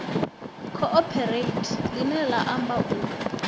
cooperate ḽine ḽa amba u